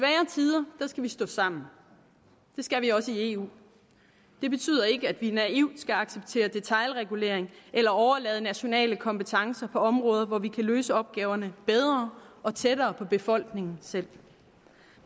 i vi stå sammen det skal vi også i eu det betyder ikke at vi naivt skal acceptere detailregulering eller overlade nationale kompetencer på områder hvor vi kan løse opgaverne bedre og tættere på befolkningen selv